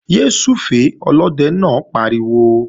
Yé súfèé! Olóde náà pariwo